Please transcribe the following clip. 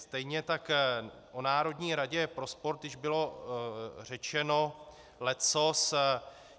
Stejně tak o Národní radě pro sport již bylo řečeno leccos.